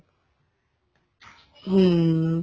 ਹਮ